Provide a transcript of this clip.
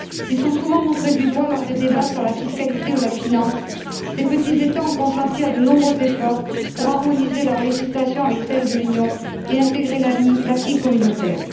S'ils sont souvent montrés du doigt lors des débats sur la fiscalité ou la finance, ces petits États ont consenti à de nombreux efforts pour harmoniser leurs législations avec celle de l'Union et intégrer l'acquis communautaire.